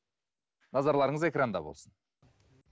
назарларыңыз экранда болсын